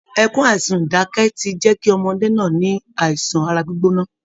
Ẹkún àsunǹdákẹ́ ti jẹ́ kí ọmọdé náà ní àìsàn ara gbígbóná